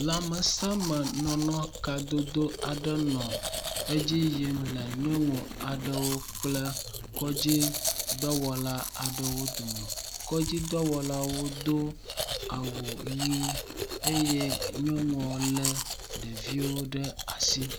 Lãmesẽ me nɔnɔ kadodo aɖe nɔ edzi yim le nyɔnu aɖewo kple kɔdzi dɔwɔla aɖewo dome. Kɔdzi dɔwɔlawo do awu ʋe eye nyɔnua lé ɖeviawo ɖe asi.